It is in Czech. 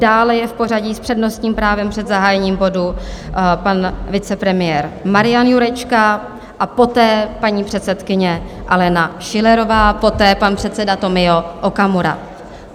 Dále je v pořadí s přednostním právem před zahájením bodu pan vicepremiér Marian Jurečka, a poté paní předsedkyně Alena Schillerová, poté pan předseda Tomio Okamura.